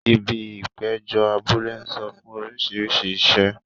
Ibi ìpéjọ abúlé ń sọ fún orísìírísìí iṣẹ́.